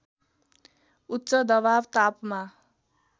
उच्च दवाब तापमा